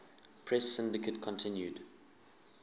press syndicate continued